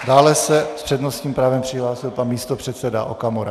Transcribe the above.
Dále se s přednostním právem přihlásil pan místopředseda Okamura.